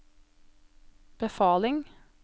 befaling